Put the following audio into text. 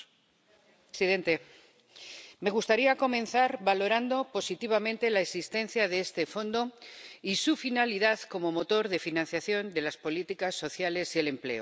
Señor presidente, me gustaría comenzar valorando positivamente la existencia de este Fondo y su finalidad como motor de financiación de las políticas sociales y el empleo.